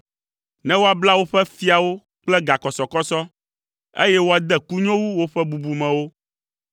ne woabla woƒe fiawo kple gakɔsɔkɔsɔ, eye woade kunyowu woƒe bubumewo,